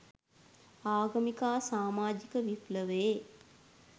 ආගමික හා සාමාජික විප්ලවයේ